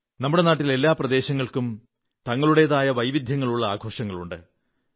നമ്മുടെ നാട്ടിൽ എല്ലാ പ്രദേശങ്ങൾക്കും തങ്ങളുടേതായ വൈവിധ്യങ്ങളുള്ള ആഘോഷങ്ങളുണ്ട്